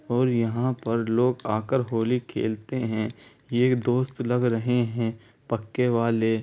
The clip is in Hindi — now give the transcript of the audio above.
और यहाँ पर लोग आकर होली खेलते है ये दोस्त लग रहे हैं पक्के वाले।